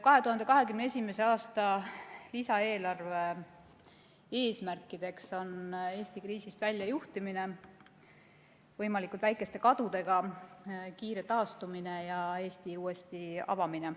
2021. aasta lisaeelarve eesmärkideks on Eesti kriisist väljajuhtimine võimalikult väikeste kadudega, kiire taastumine ja Eesti uuesti avamine.